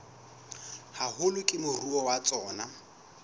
haholo ke moruo wa tsona